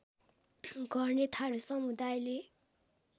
गर्ने थारू समुदायले